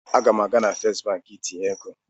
Aga m aga na Fest Banki itinye ego.